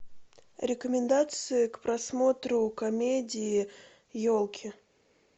рекомендации к просмотру комедии елки